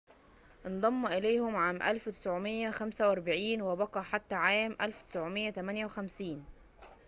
انضم إليهم عام 1945 وبقي حتى عام 1958